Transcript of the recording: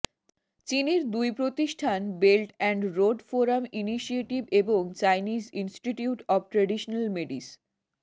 চীনের দুই প্রতিষ্ঠান belt and road forum initiative এবং চাইনিজ ইনস্টিটিউট অব ট্রাডিশনাল মেডিস